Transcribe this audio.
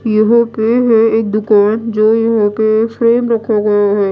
यहां पे है एक दुकान जो यहां पे फ्रेम रखा गया है।